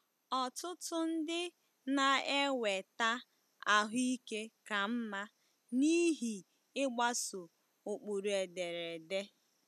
Ọtụtụ ndị na-enweta ahụ ike ka mma n'ihi ịgbaso ụkpụrụ ederede.